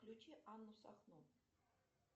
включи анну сахно